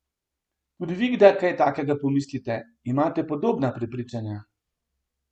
Tudi vi kdaj kaj takega pomislite, imate podobna prepričanja?